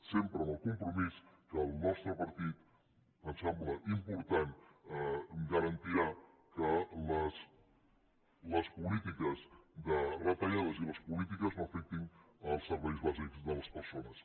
sempre amb el compromís que el nostre partit ens sembla important garantirà que les polítiques de retallades i les polítiques no afectin els serveis bàsics de les persones